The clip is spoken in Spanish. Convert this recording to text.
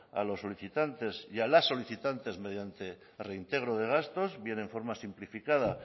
a los solicitantes y a las solicitantes mediante el reintegro de gastos bien en forma simplificada